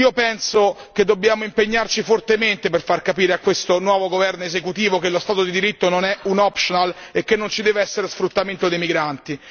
Penso che dobbiamo impegnarci fortemente per far capire a questo nuovo esecutivo che lo Stato di diritto non è un optional e che non ci deve essere sfruttamento dei migranti.